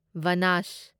ꯕꯅꯥꯁ